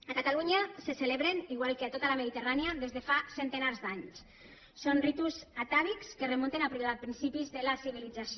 a catalunya se celebren igual que a tota la mediterrània des de fa centenars d’anys són ritus atàvics que es remunten a principis de la civilització